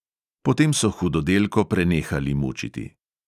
Potem so hudodelko prenehali mučiti.